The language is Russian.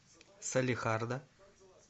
салехарда